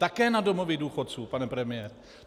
Také na domovy důchodců, pane premiére.